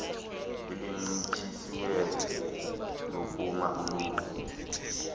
elincitshisiweyo lokuma ulinde